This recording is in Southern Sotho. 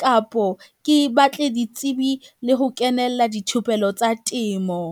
kapo ke batle ditsebi le ho kenella dithupelo tsa temo.